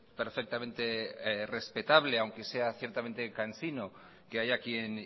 perfectamente respetable aunque sea ciertamente cansino que haya quien